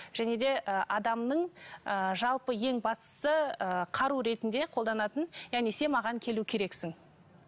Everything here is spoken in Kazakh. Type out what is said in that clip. және де ы адамның ы жалпы ең бастысы ы қару ретінде қолданатын яғни сен маған келу керексің